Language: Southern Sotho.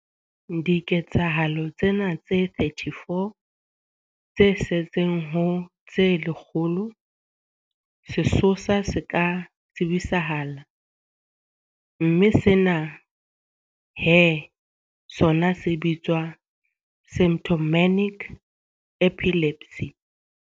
Diketsahalong tsena tse 34 tse setseng ho tse lekgolo, sesosa se ka tsebisahala mme sena he sona se bitswa symptomatic epilepsy.